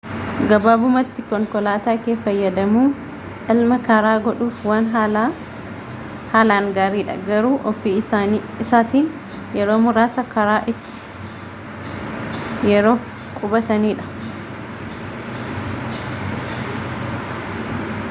gabaabumatti konkolaataa kee fayyadamuun imala karaa godhuuf waan haalaan gaariidha garuu ofii isaatiin yeroo muraasa karaa itti yeroof qubatanidha